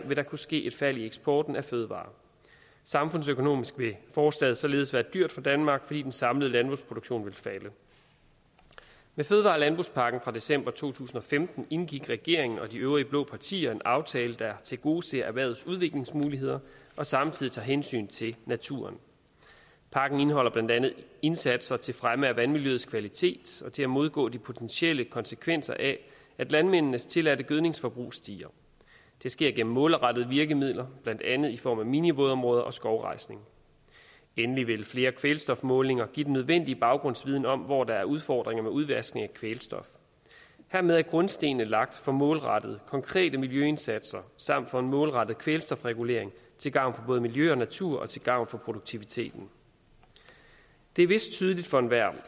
vil der kunne ske et fald i eksporten af fødevarer samfundsøkonomisk vil forslaget således være dyrt for danmark fordi den samlede landbrugsproduktion vil falde med fødevare og landbrugspakken fra december to tusind og femten indgik regeringen og de øvrige blå partier en aftale der tilgodeser erhvervets udviklingsmuligheder og samtidig tager hensyn til naturen pakken indeholder blandt andet indsatser til fremme af vandmiljøets kvalitet og til at modgå de potentielle konsekvenser af at landmændenes tilladte gødningsforbrug stiger det sker gennem målrettede virkemidler blandt andet i form af minivådområder og skovrejsning endelig vil flere kvælstofmålinger give den nødvendige baggrundsviden om hvor der er udfordringer med udvaskning af kvælstof hermed er grundstenene lagt for målrettede og konkrete miljøindsatser samt for en målrettet kvælstofregulering til gavn for både miljø og natur og til gavn for produktiviteten det er vist tydeligt for enhver